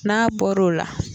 N'a bɔr'o la